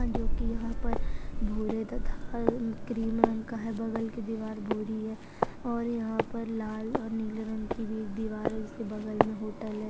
जो की यहाँ पर भूरे तथा क्रीम रंग का है बगल की दिवार भूरी है और यहाँ पर लाल और नीले रंग की भी दिवार जिसके बगल मे होटल है।